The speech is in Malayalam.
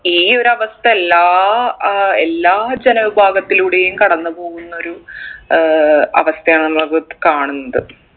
ഈ ഒരു അവസ്ഥ എല്ലാ ഏർ എല്ലാ ജനവിഭാഗത്തിലൂടെയും കടന്ന്പോകുന്നൊരു ഏർ അവസ്ഥയാണ് നമ്മളിപ്പൊ കാണുന്നത്